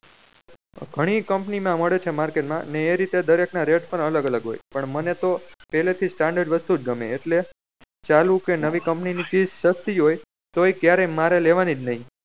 ઘણી company ના મળે છે market મા ને એ રીતે દરેક ના rate પણ અલગ અલગ હોય પણ મને તો પેહલે થી standard વસ્તુ જ ગમે એટલે ચાલુ કે નવી company ની ચીજ સસ્તી હોય તોયે ક્યારે મારે લેવાની જ નહી